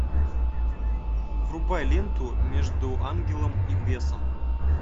врубай ленту между ангелом и бесом